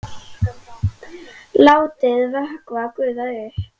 Látið vökva gufa upp.